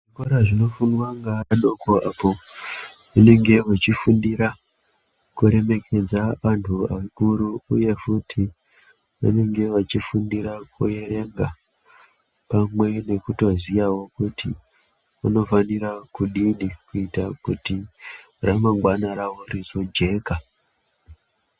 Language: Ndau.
Kora zvinofundwa ngaadoko apo vanenge vachifundira vantu kuremekedza vakuru uye futi vanenge vachifundira kuerenga pamwe nekutoziyawo kuti unofanira kudini kuita kuti ramangwana rawo rizojeka.